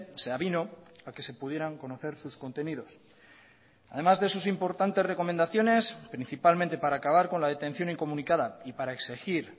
se avino a que se pudieran conocer sus contenidos además de sus importantes recomendaciones principalmente para acabar con la detención incomunicada y para exigir